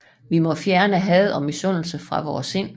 Vi må fjerne had og misundelse fra vore sind